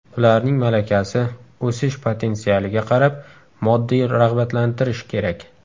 Ularning malakasi, o‘sish potensialiga qarab moddiy rag‘batlantirish kerak.